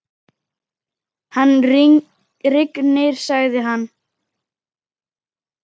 Hann rignir, sagði hann.